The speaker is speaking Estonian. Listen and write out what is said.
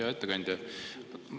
Hea ettekandja!